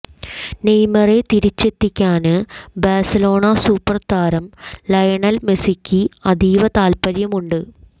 നെയ്മറെ തിരിച്ചെത്തിക്കാന് Barcelona super താരം Lionel മെസ്സിക്ക് അതീവ താല്പ്പര്യമുണ്ട്